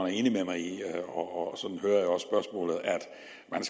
er enig med mig i og at man